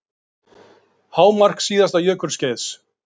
Hámark síðasta jökulskeiðs